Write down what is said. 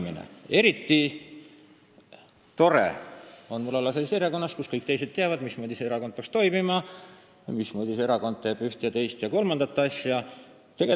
Mul on eriti tore olla erakonnas, mille puhul kõik teised teavad, mismoodi peaks see erakond toimima, mismoodi see erakond ühte, teist ja kolmandat asja teeb.